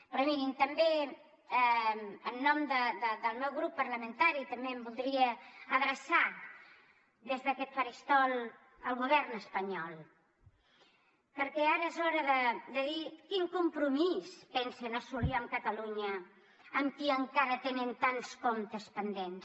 però mirin també en nom del meu grup parlamentari també em voldria adreçar des d’aquest faristol al govern espanyol perquè ara és hora de dir quin compromís pensen assolir amb catalunya amb qui encara tenen tants comptes pendents